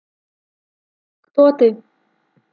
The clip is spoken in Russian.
кто ты